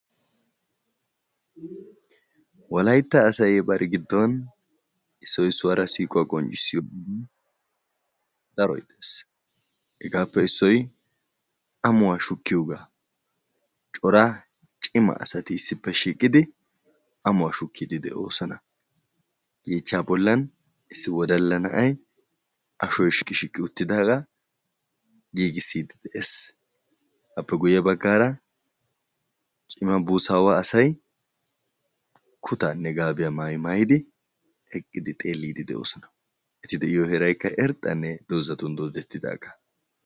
Wolaytta asay bari gidon issoy issuwara siiquwa qonccisiyo oge daroy de'ees. Hegaape issoy ammuwa shukkiyoga. Cora cimma asaati issipe shiiqidi ammuwa shukkidi de'osona. Yechcha bollan issi wodalla na'aay ashoy shiiqi shiiqi uttidaga giigisidi de'ees. Appe guye baggaara cimma buusawa asaay kuttane gaabiya maayi maayidi eqqidi xeelidi deosona. Eti deiyo heeraykka irxxane dozatun dodetidaga.